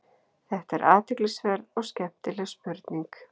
Þetta er athyglisverð og skemmtileg spurning.